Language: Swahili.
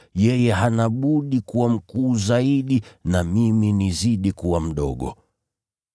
Yeye hana budi kuwa mkuu zaidi na mimi nizidi kuwa mdogo.”